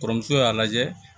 Kɔrɔmuso y'a lajɛ